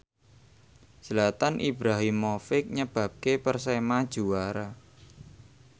Zlatan Ibrahimovic nyebabke Persema juara